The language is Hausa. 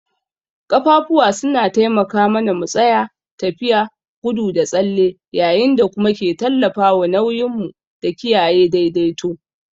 Ƙafafu suna taimaka mana mu tsaya, tafiya, gudu da tsalle yayin da kuma ke tallafawa nauyin mu da kiyaye daidaito.